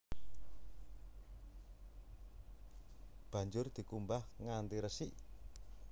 Banjur dikumbah nganti resik